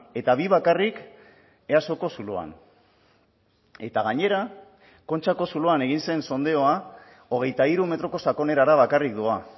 eta bi bakarrik easoko zuloan eta gainera kontxako zuloan egin zen sondeoa hogeita hiru metroko sakonerara bakarrik doa